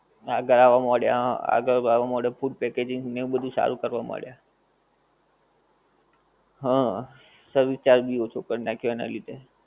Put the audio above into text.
આગળ આવવા માંડ્યા હં આગળ આવા માંડ્યા, food packaging ને બધુ સારું કરવા માંડ્યા. હં service charge ભી ઓછો કરી નાખ્યો એનાં લીધે.